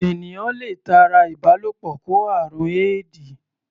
Ènìyàn le tara ìbálòpọ̀ kó àrùn éèdì.